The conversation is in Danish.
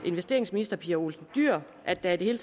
investeringsminister pia olsen dyhr at der i det hele